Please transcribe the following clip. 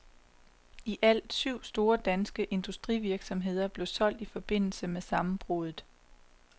Ialt syv store, danske industrivirksomheder blev solgt i forbindelse med sammenbruddet.